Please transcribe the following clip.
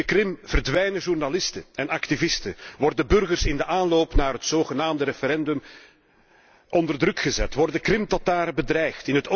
In de Krim verdwijnen journalisten en activisten, worden burgers in de aanloop naar het zogenaamde referendum onder druk gezet, worden Krimtartaren bedreigd.